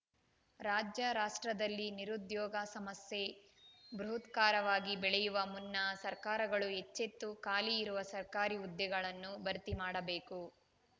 ರಾಜ್ಯ ರಾಷ್ಟ್ರದಲ್ಲಿ ನಿರುದ್ಯೋಗ ಸಮಸ್ಯೆ ಬೃಹದಾಕಾರವಾಗಿ ಬೆಳೆಯುವ ಮುನ್ನ ಸರ್ಕಾರಗಳು ಎಚ್ಚೆತ್ತು ಖಾಲಿ ಇರುವ ಸರ್ಕಾರಿ ಹುದ್ದೆಗಳನ್ನು ಭರ್ತಿ ಮಾಡಬೇಕು